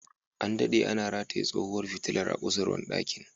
An dade ana rataye tsohuwar fitilar a kusurwar dakin.